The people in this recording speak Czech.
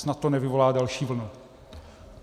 Snad to nevyvolá další vlnu.